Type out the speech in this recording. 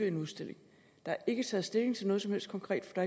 en udstilling der er ikke taget stilling til noget som helst konkret for